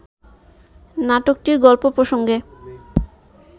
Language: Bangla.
নাটকটির গল্প প্রসঙ্গে